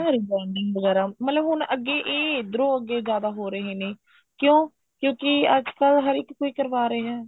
rebounding ਵਗੈਰਾ ਮਤਲਬ ਹੁਣ ਅੱਗੇ ਇਹ ਇੱਧਰੋ ਅੱਗੇ ਜਿਆਦਾ ਹੋ ਰਹੇ ਨੇ ਕਿਉਂ ਕਿਉਂਕਿ ਅੱਜਕਲ ਹਰ ਇੱਕ ਕੋਈ ਕਰਵਾ ਰਿਹਾ